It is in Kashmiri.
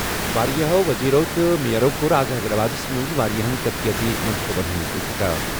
واریٛاہَو وزیرَو تہٕ میئرَو کوٚر آز حیدرآبادَس منٛز واریٛاہَن ترقیٲتی منصوبَن ہُنٛد افتتاح۔